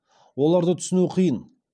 оларды түсіну қиын